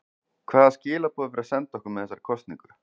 Hvaða skilaboð er verið að senda okkur með þessari kosningu?